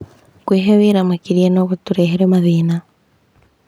Kwĩhe wĩra makĩria no gũtũrehere mathĩna.